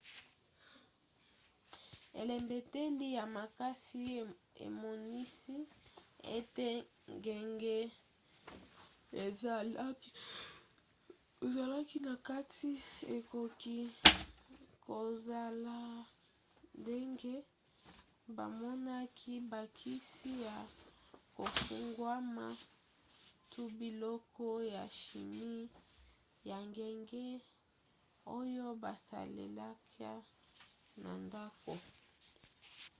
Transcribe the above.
elembeteli ya makasi emonisi ete ngenge ezalaki na kati ekoki kozala ndenge bamonaki bakisi ya kofungwama to biloko ya chimie ya ngenge oyo basalelaka na ndako